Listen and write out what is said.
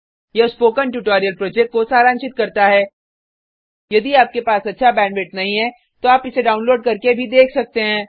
यह spoken tutorial project को सारांशित करता है यदि आपके पास अच्छा बैंडविड्थ नहीं है तो आप इसको डाउनलोड करने और देख सकते हैं